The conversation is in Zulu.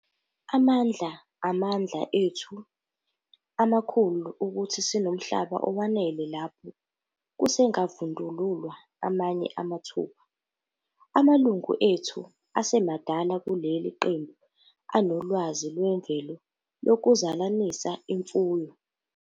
Amandla- Amandla ethu amakhulu ukuthi sinomhlaba owanele lapho kusengavundululwa amanye amathuba. Amalungu ethu asemadala kuleli qembu anolwazi lwemvelo lokuzalanisa imfuyo.